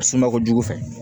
Suma kojugu fɛ